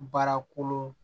Baara kolon